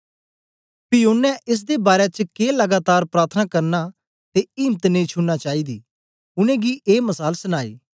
पी ओनें एस दे बारै च के लगातार प्रार्थना करना ते इम्त नेई छुड़ना चाईदी उनेंगी ए मसाल सनाई